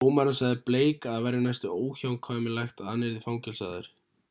dómarinn sagði blake að það væri næstum óhjákvæmilegt að hann yrði fangelsaður